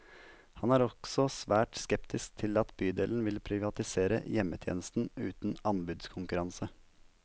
Han er også svært skeptisk til at bydelen vil privatisere hjemmetjenesten uten anbudskonkurranse.